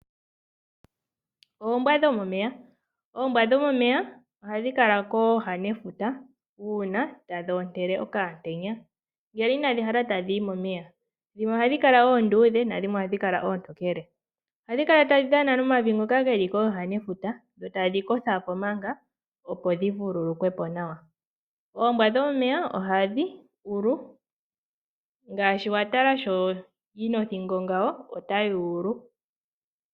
Oombwa dhomomeya Oombwa dhomomeya ohadhi kala kooha dhefuta uuna tadhi ontele okaantenya ngele inadhi hala tadhi yi momeya. Dhimwe ohadhi kala oontokele, dhimwe ohadhi kala oonduudhe. Ohadhi kala tadhi dhana nomavi ngoka ge li kooha dhefuta dho tadhi kotha po nduno, opo dhi vululukwe po nawa. Oombwa dhomomeya ohadhi ulu.